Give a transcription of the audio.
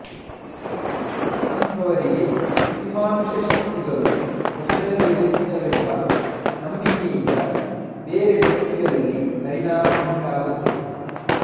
ಅಂಥವರಿಗೆ ಅತಿಮಾನುಷ ಶಕ್ತಿಗಳು ವಶದಲ್ಲಿರುತ್ತವೆಂಬ ನಂಬಿಕೆಯಿಂದ ಬೇರೆ ವ್ಯಕ್ತಿಗಳಲ್ಲಿ ಪರಿಣಾಮವುಂಟಾಗುತ್ತದೆ